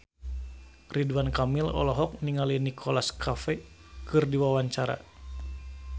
Ridwan Kamil olohok ningali Nicholas Cafe keur diwawancara